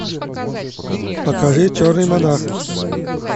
покажи черный монах